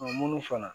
munnu fana